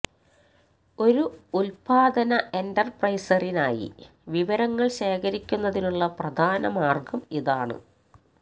ഒരു ഉൽപ്പാദന എന്റർപ്രൈസറിനായി വിവരങ്ങൾ ശേഖരിക്കുന്നതിനുള്ള പ്രധാന മാർഗം ഇതാണ്